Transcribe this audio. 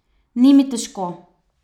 Ni mi težko.